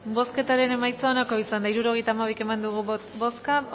bozketaren emaitza onako izan da hirurogeita hamabi eman dugu bozka